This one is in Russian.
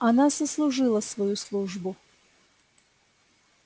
она сослужила свою службу